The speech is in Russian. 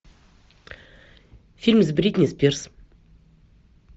фильм с бритни спирс